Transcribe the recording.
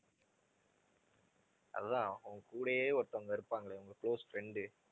அதான் உன் கூடயே ஒருத்தவங்க இருப்பாங்களே உங்க close friend உ